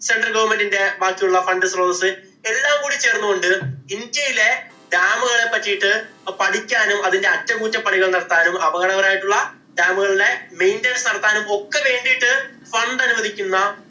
central government ഇന്‍റെ ബാക്കിയുള്ള fund സ്രോതസ് എല്ലാം കൂടി ചേര്‍ന്ന് കൊണ്ട് ഇന്‍ഡ്യയിലെ dam ഉകളെ പറ്റിയിട്ട് പഠിക്കാനും, അതിന്‍റെ അറ്റകുറ്റപ്പണികള്‍ നടത്താനും, അപകടകരമായിട്ടുള്ള dam ഉകളുടെ maintance നടത്താനും ഒക്കെ വേണ്ടീട്ട്